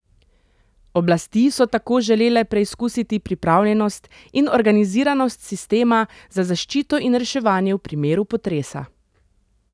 Oblasti so tako želele preizkusiti pripravljenost in organiziranost sistema za zaščito in reševanje v primeru potresa.